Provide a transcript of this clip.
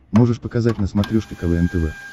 можешь показать на смотрешке квн тв